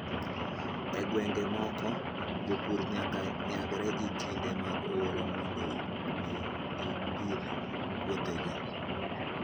E gwenge moko, jopur nyaka nyagre gi kinde mag oro mondo mi gipidh puothegi.